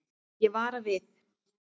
Ég vara við.